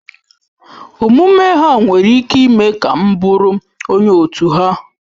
Omume ha nwere ike ime ka m bụụrụ onye otu ha.